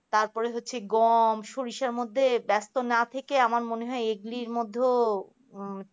তারপর হচ্ছে গম সরিষার মধ্যে পড়ে না থেকে আমার মনে হয় এগুলির মধ্যেও আহ